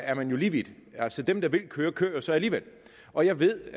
er man jo lige vidt altså dem der vil køre kører jo så alligevel og jeg ved